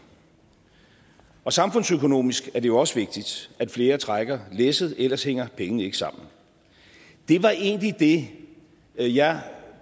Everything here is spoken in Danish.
samfundsøkonomisk er det også vigtigt at flere trækker læsset for ellers hænger pengene ikke sammen det var egentlig det jeg